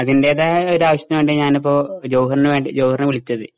അതിന്റേതായ ഒരു ആവശ്യത്തിന് വേണ്ടിയാ ഞാനിപ്പോ ജൌഹറിനെ വിളിച്ചത് .